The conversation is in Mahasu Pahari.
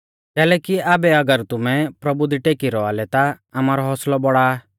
कैलैकि आबै अगर तुमै प्रभु दी टेकी रौआ लै ता आमारौ हौसलौ बौड़ा आ